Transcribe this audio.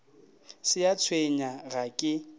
se a tshwenya ga ke